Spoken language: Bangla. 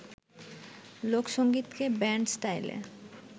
লোকসংগীতকে ব্যান্ড স্টাইলে